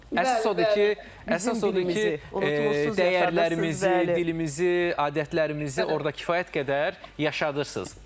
Əsas odur ki, əsas odur ki, dəyərlərimizi, dilimizi, adətlərimizi orda kifayət qədər yaşadırsız.